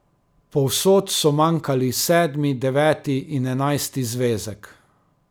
Povsod so manjkali sedmi, deveti in enajsti zvezek.